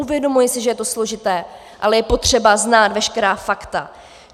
Uvědomuji si, že je to složité, ale je potřeba znát veškerá fakta.